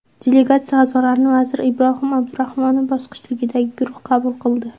Delegatsiya a’zolarini vazir Ibrohim Abdurahmonov boshchiligidagi guruh qabul qildi.